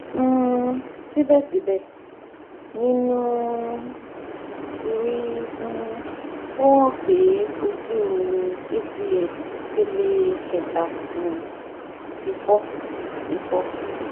um sibẹsibẹ ninu mri um o han pe oju acl ipele keta um ti fọ ti fọ